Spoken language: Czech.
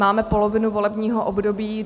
Máme polovinu volebního období.